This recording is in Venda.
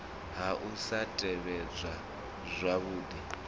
ha u sa tevhedzwa zwavhudi